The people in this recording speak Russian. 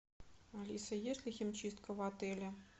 алиса есть ли химчистка в отеле